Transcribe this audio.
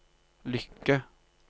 lykke